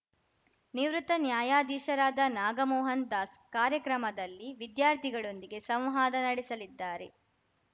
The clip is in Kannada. ನಿವೃತ್ತ ನ್ಯಾಯಾಧೀಶರಾದ ನಾಗಮೋಹನ್ ದಾಸ್‌ ಕಾರ್ಯಕ್ರಮದಲ್ಲಿ ವಿದ್ಯಾರ್ಥಿಗಳೊಂದಿಗೆ ಸಂವಾದ ನಡೆಸಲಿದ್ದಾರೆ